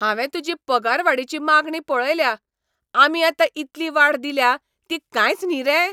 हांवें तुजी पगारवाडीची मागणी पळयल्या. आमी आतां इतली वाड दिल्या ती कांयच न्ही रे?